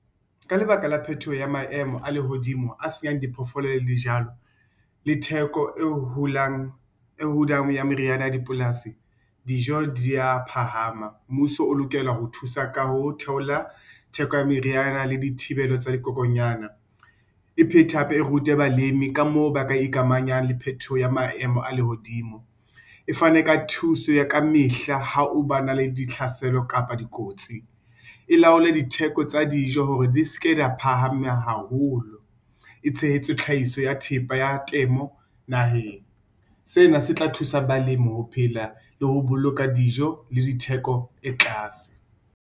Ka lebaka la phetoho ya maemo a lehodimo a senyang diphoofolo le dijwalo, le theko e dulang ya meriyana ya dipolasi, dijo di ya phahama, mmuso o lokela ho thusa ka ho theola theko ya meriana le dithibelo tsa dikokonyana, e phetha, hape e rute balemi ka moo ba ka ikamanya le phetoho ya maemo a lehodimo. E fane ka thuso ya ka mehla ha o ba na le ditlhaselo kapa dikotsi. E laole ditheko tsa dijo hore di ske da phahama haholo. E tshehetse tlhahiso ya thepa ya temo naheng. Sena se tla thusa balemi ho phela le ho boloka dijo le ditheko e tlase.